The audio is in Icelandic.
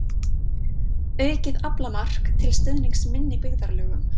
Aukið aflamark til stuðnings minni byggðarlögum